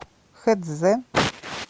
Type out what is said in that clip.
хэцзэ